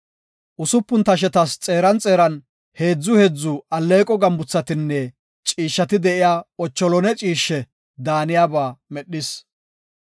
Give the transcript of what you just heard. Usupun tashetas xeeran xeeran heedzu heedzu alleeqo gambuthatinne ciishshati de7iya lawuze mitha ciishshe daaniyaba medhis.